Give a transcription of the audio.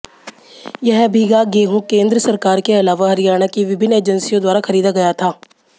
यह भीगा गेहूं केंद्र सरकार के अलावा हरियाणा की विभिन्न एजेंसियों द्वारा खरीदा गया था